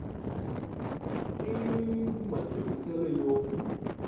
ii iii iv matirhisele yo